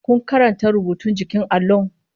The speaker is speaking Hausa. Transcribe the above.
Ku karanta rubutun jikin allon!